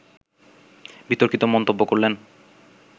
বিতর্কিত মন্তব্য করলেন